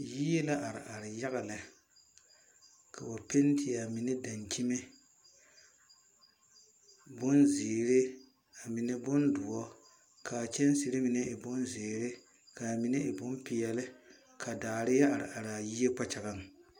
Yie la are are yaga lɛ. Kaba pɛnte a mene dankyeme bon ziere, a mene bon duor. Kaa kyensire mene e bon ziere, kaa mene e bon pɛɛli. Ka daare ya are are a yie kpakyagaŋ